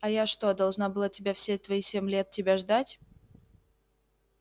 а я что должна была тебя все твои семь лет тебя ждать